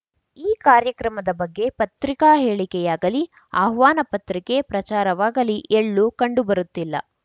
ಈ ಕಾರ್ಯಕ್ರಮದ ಬಗ್ಗೆ ಪತ್ರಿಕಾ ಹೇಳಿಕೆಯಾಗಲಿ ಆಹ್ವಾನ ಪತ್ರಿಕೆ ಪ್ರಚಾರವಾಗಲಿ ಎಳ್ಳು ಕಂಡುಬರುತ್ತಿಲ್ಲ